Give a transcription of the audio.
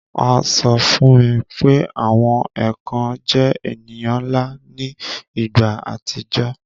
A sọ fún mi pé àwọn èkàn jẹ èniyàn nla ni ìgbà àtijọ́